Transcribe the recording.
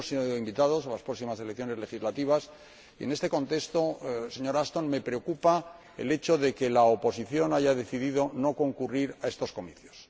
Sí hemos sido invitados a las próximas elecciones legislativas y, a este respecto, señora Ashton, me preocupa el hecho de que la oposición haya decidido no concurrir a esos comicios.